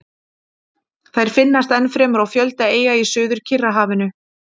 Þær finnast ennfremur á fjölda eyja í Suður-Kyrrahafinu.